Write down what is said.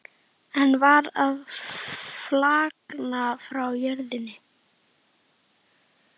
Einn var að flagna frá jörðinni.